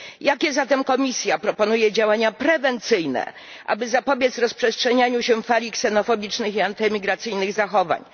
Jakie zatem Komisja proponuje działania prewencyjne, aby zapobiec rozprzestrzenianiu się fali ksenofobicznych i antymigracyjnych zachowań?